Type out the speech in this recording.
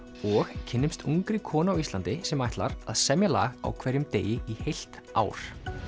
og kynnumst ungri konu á Íslandi sem ætlar að semja lag á hverjum degi í heilt ár